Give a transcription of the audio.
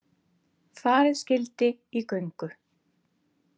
Farið skyldi í göngu.